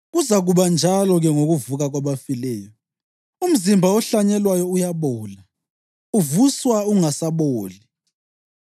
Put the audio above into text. Kuzakuba njalo-ke ngokuvuka kwabafileyo. Umzimba ohlanyelwayo uyabola, uvuswa ungasaboli;